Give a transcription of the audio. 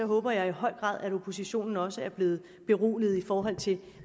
håber jeg i høj grad at oppositionen også er blevet beroliget i forhold til